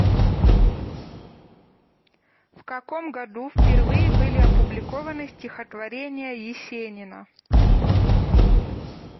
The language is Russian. в каком году впервые были опубликованы стихотворения есенина